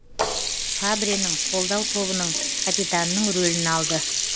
фабренің қолдау тобының капитанының рөлін алды